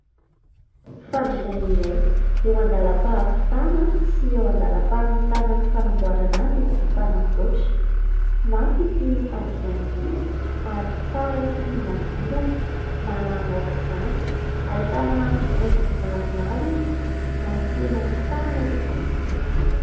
Fandriana iray eo andalam-pahavitana sy eo andalam-pamitanan'ny fanamboarana azy ity mpanamboatra. Mafy ity fandriana ity ary tsara sy mangirana, malama aok'izany, ahitana haingony maromaro izy ary tena tsara tokoa.